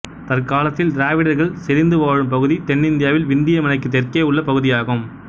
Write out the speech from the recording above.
தற்காலத்தில் திராவிடர்கள் செறிந்து வாழும் பகுதி தென்னிந்தியாவில் விந்திய மலைக்குத் தெற்கேயுள்ள பகுதியாகும்